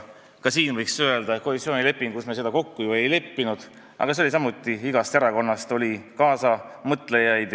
Ka siin võiks öelda, et koalitsioonilepingus me seda ju kokku ei leppinud, aga sellega oli samuti nii, et igast erakonnast oli kaasamõtlejaid.